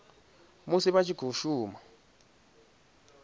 musi a tshi khou shuma